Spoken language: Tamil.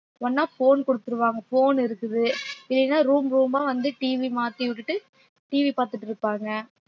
ஒண்ணா phone குடுத்துருவாங்க phone இருக்குது இல்லேன்னா room room ஆ வந்து TV மாத்தி விட்டுட்டு TV பாத்துட்டு இருப்பாங்க